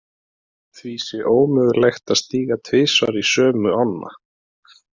Því sé ómögulegt að stíga tvisvar í sömu ána.